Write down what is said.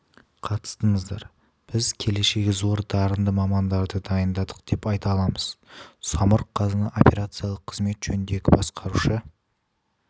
қатыстыңыздар біз келешегі зор дарынды мамандарды дайындадық деп айта аламыз самұрық-қазына операциялық қызмет жөніндегі басқарушы